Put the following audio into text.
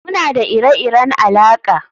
Muna da ire-iren alaƙa